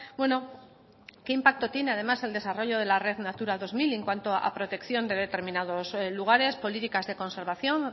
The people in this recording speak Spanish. bueno qué impacto tiene además el desarrollo de la red natura dos mil en cuanto a protección de determinados lugares políticas de conservación